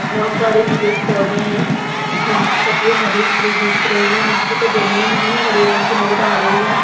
बोहोत सारे पेड़ पौधे हैं और उनकी पत्तियां हरी-भरी दिख रही है। नीचे की जमीन भी हरे रंग की नजर आ रही है।